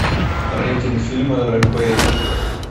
рейтинг фильма рэмпейдж